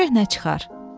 Görək nə çıxar.